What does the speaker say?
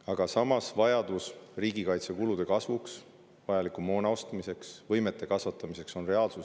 Aga samas, vajadus riigikaitsekulude kasvuks, vajaliku moona ostmiseks, võimete kasvatamiseks on reaalsus.